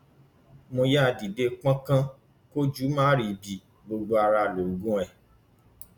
mo yáa dìde pọnkan kójú má ríbi gbogbo ara lóògùn ẹ